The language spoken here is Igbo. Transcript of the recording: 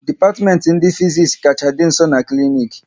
Dipatimenti Fiziks kacha dị nso n'klinik